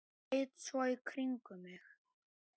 Leit svo í kringum mig.